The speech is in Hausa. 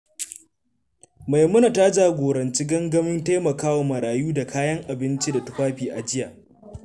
Maimuna ta jagoranci gangamin taimakawa marayu da kayan abinci da tufafi a jiya.